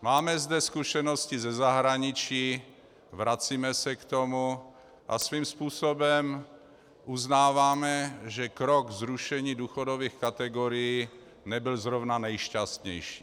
Máme zde zkušenosti ze zahraničí, vracíme se k tomu a svým způsobem uznáváme, že krok zrušení důchodových kategorií nebyl zrovna nejšťastnější.